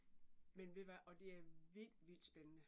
Men ved hvad og det er vildt vildt spændende